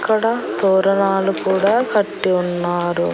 ఇక్కడ తోరణాలు కూడా కట్టి ఉన్నారు.